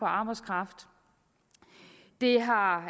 arbejdskraft det har